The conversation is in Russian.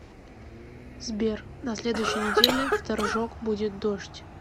сбер на следующей неделе в торжок будет дождь